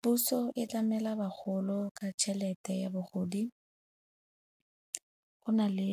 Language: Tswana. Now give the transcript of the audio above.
Puso e tlamela bagolo ka tšhelete ya bogodi. Go na le